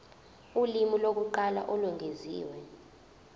ulimi lokuqala olwengeziwe